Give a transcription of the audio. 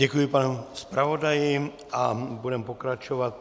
Děkuji panu zpravodaji a budeme pokračovat.